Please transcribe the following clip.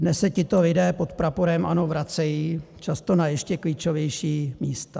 Dnes se tito lidé pod praporem ANO vracejí, často na ještě klíčovější místa.